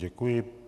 Děkuji.